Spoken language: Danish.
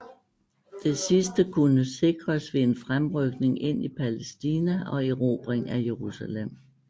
Det sidste kunne sikres ved en fremrykning ind i Palæstina og erobring af Jerusalem